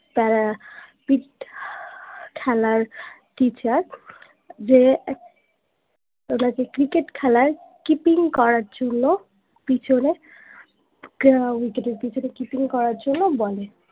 খেলার teacher যে ওনাকে cricket খেলায় keeping করার জন্য পিছনে wicket এর পিছনে keeping করার জন্য বলে